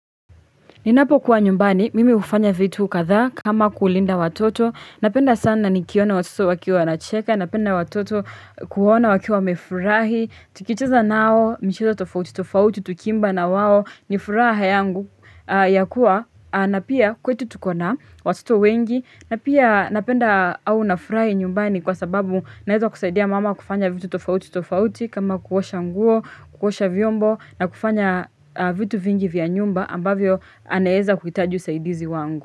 Ninapokuwa nyumbani, mimi hufanya vitu kadha kama kulinda watoto, napenda sana nikiona watoto wakiwa wanacheka, napenda watoto kuona wakiwa wamefurahi, tukicheza nao, michezo tofauti, tofauti, tukiimba na wao, nifuraha yangu ya kuwa, na pia kwetu tuko na watoto wengi, napia napenda au nafurahi nyumbani kwa sababu naeza kusaidia mama kufanya vitu tofauti, tofauti, kama kuosha nguo, kuosha vyombo, na kufanya vitu vingi vya nyumba, ambavyo anaeza kuhitaji usaidizi wangu.